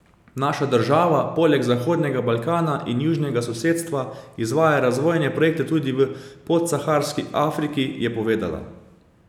Naša država poleg Zahodnega Balkana in južnega sosedstva izvaja razvojne projekte tudi v Podsaharski Afriki, je povedala.